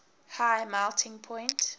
high melting point